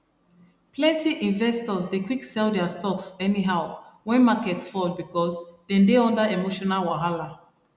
plenty investors dey quick sell their stocks anyhow when market fall because dem dey under emotional wahala